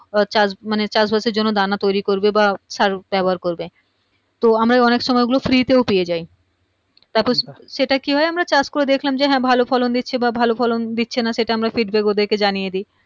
এচাষ মানে চাষবাসের জন্য দানা তৈরী করবে বা সার ব্যবহার করবে তো আমরা অনেক সময় ঐগুলো Free এতেও পেয়ে যায় তারপর সেটা কী হয় আমরা চাষ করে দেখলাম যে হা ভালো ফলন দিচ্ছে বা ভালো ফলন দিচ্ছে না সেটা আমরা feedback ওদেরকে জানিয়ে দিয়